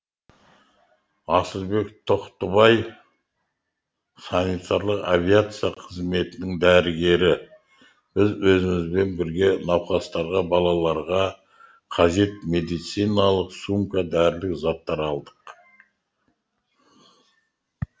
асылбек тоқтыбай санитарлық авиация қызметінің дәрігері біз өзімізбен бірге науқастарға балаларға қажет медициналық сумка дәрілік заттар алдық